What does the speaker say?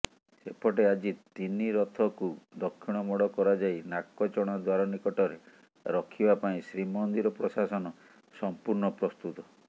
ସେପଟେ ଆଜି ତନିରଥକୁ ଦକ୍ଷିଣମୋଡ଼ କରାଯାଇ ନାକଚଣା ଦ୍ୱାର ନିକଟରେ ରଖିବା ପାଇଁ ଶ୍ରୀମନ୍ଦିର ପ୍ରଶାସନ ସଂପୂର୍ଣ୍ଣ ପ୍ରସ୍ତୁତ